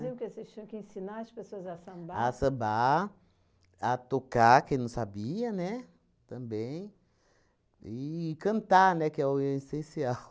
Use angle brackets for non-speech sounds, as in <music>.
Faziam o quê? Vocês tinham que ensinar as pessoas a sambar? A sambar, a tocar, quem não sabia, né, também e cantar, né, que é o <laughs> essencial.